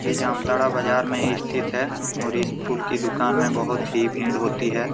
ये जामताड़ा बजार में ही स्थित है और इस फूल की दूकान में बहुत ही भीड़ होती है।